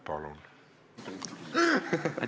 Palun!